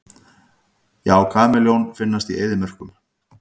Já, kameljón finnast í eyðimörkum.